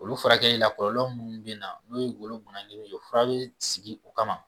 Olu furakɛli la kɔlɔlɔ munnu bɛ na n'o ye golo ye o fura bɛ sigi o kama.